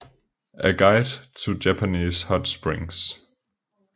A Guide to Japanese Hot Springs